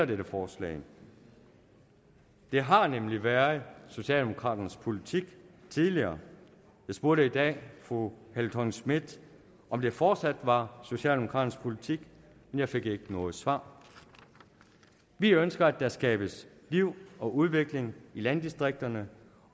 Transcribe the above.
dette forslag det har nemlig været socialdemokraternes politik tidligere jeg spurgte i dag fru helle thorning schmidt om det fortsat var socialdemokraternes politik men jeg fik ikke noget svar vi ønsker at der skabes liv og udvikling i landdistrikterne